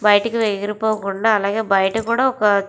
బయటికి ఎగిరి పోకుండా అలాగే బయట కూడా ఒక --